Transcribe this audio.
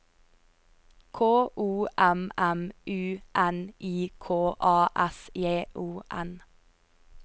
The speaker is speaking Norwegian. K O M M U N I K A S J O N